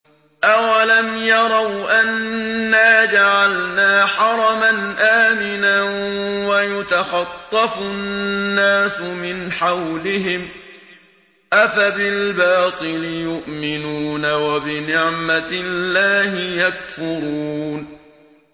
أَوَلَمْ يَرَوْا أَنَّا جَعَلْنَا حَرَمًا آمِنًا وَيُتَخَطَّفُ النَّاسُ مِنْ حَوْلِهِمْ ۚ أَفَبِالْبَاطِلِ يُؤْمِنُونَ وَبِنِعْمَةِ اللَّهِ يَكْفُرُونَ